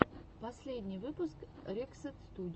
последний выпуск рексет студио